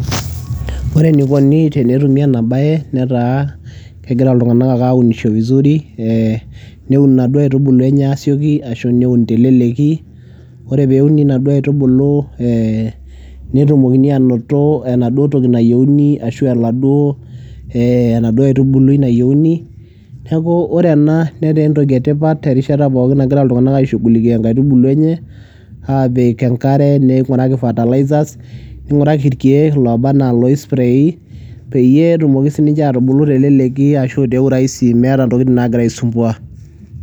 Ore enikoni tenetumi ena baye netaa kegira iltung'anak ake aunisho vizuri ee neun inaduo aitubulu enye aasioki ashu neun te leleki. Ore peuni inaduo aitubulu ee netumokini aanoto enaduo toki nayeuni ashu oladuo ee enaduo aitubului nayeuni. Neeku ore ena netaa entoki e tipat erishata pookin nagira iltung'anak aishughulikia inkaitubulu enye aapik enkare, ning'uraki fertilizers, ning'uraki irkeek ilooba naa loisprayi peyie etumoki sininche aatubulu teleleki ashu te urahisi meeta intokitin naagira aisumbua.